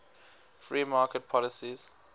free market policies